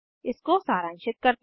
इसको सारांशित करते हैं